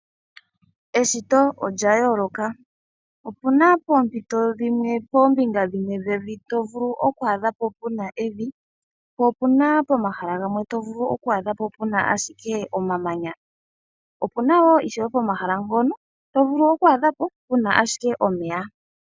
Eshito olya yooloka. Opuna poompito dhimwe koombinga dhimwe dhevi to vulu okwaadha po puna evi, po opuna pomahala gamwe to vulu okwaadha po puna ashike omamanya, opuna woo ishewe pomahala ngono to vulu okwaadha po puna ashike omeya.